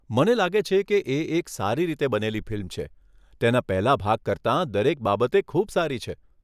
મને લાગે છે કે એક સારી રીતે બનેલી ફિલ્મ છે, તેના પહેલાં ભાગ કરતાં દરેક બાબતે ખૂબ સારી છે.